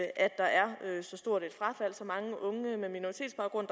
at der er så stort frafald og så mange unge med minoritetsbaggrund